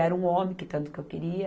Era um homem, que tanto que eu queria.